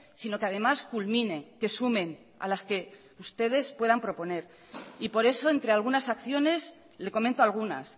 sino que además culmine que sumen a las que ustedes puedan proponer y por eso entre algunas acciones le comento algunas